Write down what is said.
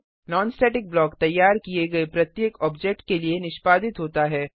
non static block तैयार किए गए प्रत्येक ऑब्जेक्ट के लिए निष्पादित होता है